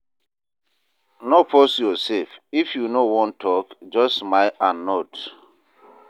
No force yoursef, if you no wan tok, just smile and nod.